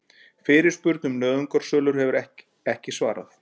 Fyrirspurn um nauðungarsölur ekki svarað